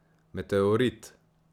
Meteorit!